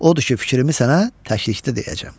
Odur ki, fikrimi sənə təklikdə deyəcəm.